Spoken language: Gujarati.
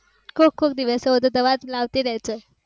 કોક કોક દિવસ ઓહ તો દવા લાવતી રેજે